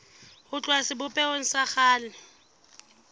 ho tloha sebopehong sa kgale